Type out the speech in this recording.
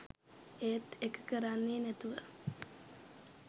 ඒත් ඒක කරන්නේ නැතිව